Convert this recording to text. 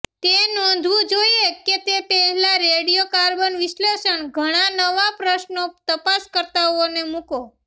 તે નોંધવું જોઇએ કે તે પહેલાં રેડિયો કાર્બન વિશ્લેષણ ઘણા નવા પ્રશ્નો તપાસકર્તાઓને મૂકો